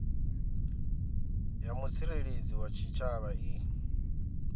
ya mutsireledzi wa tshitshavha i